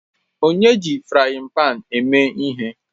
Onye ji frayin pan a mee ihe?